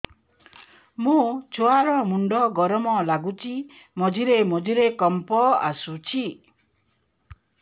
ମୋ ଛୁଆ ର ମୁଣ୍ଡ ଗରମ ଲାଗୁଚି ମଝିରେ ମଝିରେ କମ୍ପ ଆସୁଛି